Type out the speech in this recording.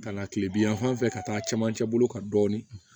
Ka na kile bi yan fan fɛ ka taa a camancɛ bolo kan dɔɔni